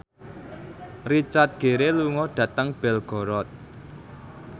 Richard Gere lunga dhateng Belgorod